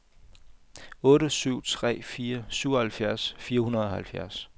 otte syv tre fire syvoghalvfjerds fire hundrede og halvfjerds